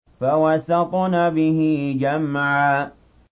فَوَسَطْنَ بِهِ جَمْعًا